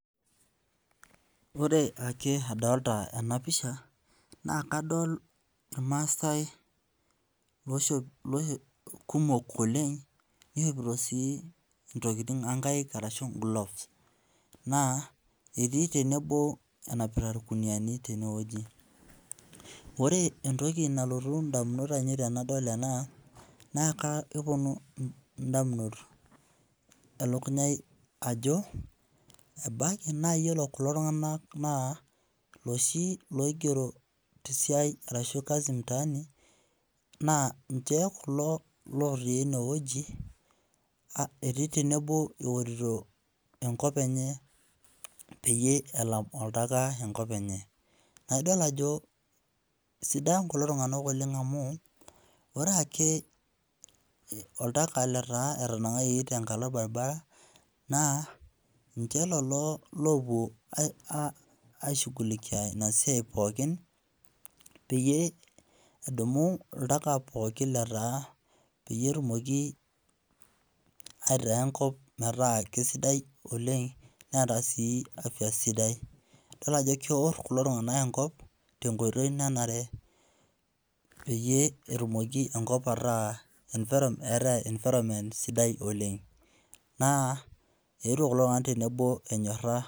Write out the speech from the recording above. Ore ake adolita ena pisha naa kadol irmaasai kumok oleng nishopito sii intokiting oo nkaik ashu gloves. Naa etii tenebo enapita irkunuyiani tenewueji. Ore entoki nalotu indamunot ainei tenadol ena naa kepwonu indamunot elukunya ai ajo embaiki naiyiolo kulo tung'anak naa loshii loigero te siai ashuu kazi mtaani naa inji ees kulo lotii enewueji aa etii tenebo eorito enkop enye peyie elam oltaka enop enye. Naidol ajo sidain kulo tung'anak oleng amu ore ake oltaka letaa etanang'ayioki tenkalo orbaribara naa ninche lelo oopwo aishughulikia ina siai pookin peyie edumu oltaka pookin lotaa peyie etumoki aitaa enkop metaa sidai oleng neeta sii afya sidai. Idol ajo keorr kulo tung'anak enkop tenkoitoi nanare peyie etumoki enkop ataa eeta environment [c] sidai oleng. Naa eetwo kulo tung'anak tenebo